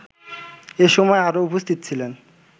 এসময় আরও উপস্থিত ছিলেন